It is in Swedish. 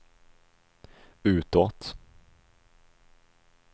utåt